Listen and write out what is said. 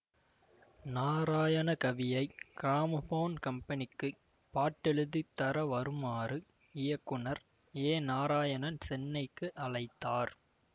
நாராயணகவியை gramophone கம்பெனிக்கு பாட்டெழுதித் தர வருமாறு இயக்குநர் ஏநாராயணன் சென்னைக்கு அழைத்தார்